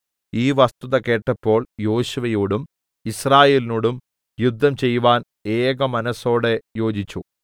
ഈ വസ്തുത കേട്ടപ്പോൾ യോശുവയോടും യിസ്രായേലിനോടും യുദ്ധം ചെയ്‌വാൻ ഏകമനസ്സോടെ യോജിച്ചു